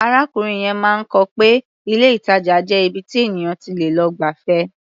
Arákùnrin yẹn máa kọ́ pé ilé-ìtàjà jẹ́ ibi tí ènìyàn ti lè lọ gbafẹ́.